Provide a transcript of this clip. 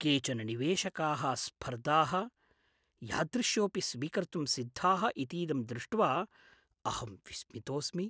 केचन निवेशकाः स्फर्धाः यादृश्योऽपि स्वीकर्तुम् सिद्धाः इतीदं दृष्ट्वा अहं विस्मितोऽस्मि ।